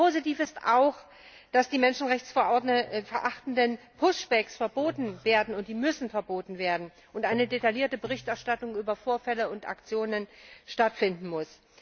Positiv ist auch, dass die menschenrechtsverachtenden Pushbacks verboten werden, und die müssen verboten werden, und eine detaillierte Berichterstattung über Vorfälle und Aktionen stattfinden muss.